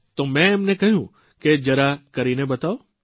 તો મે એમને કહ્યું કે જરા કરીને બતાવો